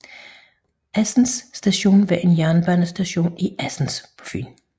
Assens station var en jernbanestation i Assens på Fyn